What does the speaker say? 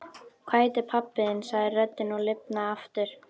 Hvað heitir pabbi þinn? sagði röddin og lifnaði aftur.